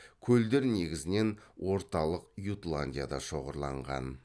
көлдер негізінен орталық ютландияда шоғырланған